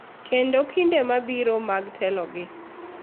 Kendo kinde mabiro mar telogi.